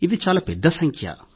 ఇది చాలా పెద్ద సంఖ్య